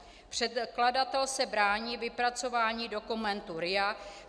Předkladatel se brání vypracování dokumentu RIA;